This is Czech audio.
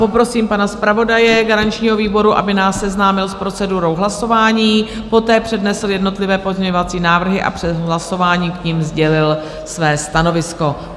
Poprosím pana zpravodaje garančního výboru, aby nás seznámil s procedurou hlasování, poté přednesl jednotlivé pozměňovací návrhy a před hlasováním k nim sdělil své stanovisko.